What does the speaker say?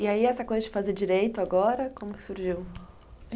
E aí, essa coisa de fazer direito agora, como é que surgiu?